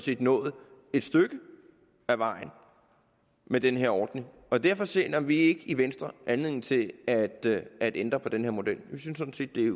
vi nået et stykke ad vejen med den her ordning derfor ser vi ikke i venstre anledning til at ændre på den her model vi synes sådan set det